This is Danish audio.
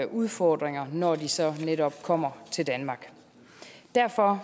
udfordringer når de så netop kommer til danmark derfor